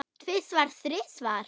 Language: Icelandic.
Tvisvar, þrisvar?